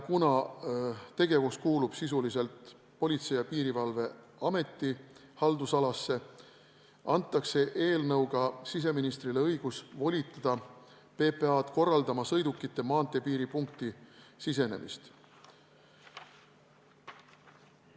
Kuna tegevus kuulub sisuliselt Politsei- ja Piirivalveameti haldusalasse, antakse eelnõuga siseministrile õigus volitada PPA-d korraldama sõidukite maanteepiiripunkti sisenemist.